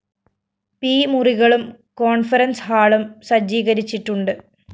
P മുറികളും conference ഹാളും സജ്ജീകരിച്ചിട്ടുണ്ട്